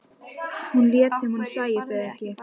Hún lét sem hún sæi þau ekki.